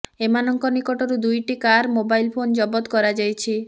ଏମାନଙ୍କ ନିକଟରୁ ଦୁଇଟି କାର ମୋବାଇଲ ଫୋନ ଜବତ କରାଯାଇଛି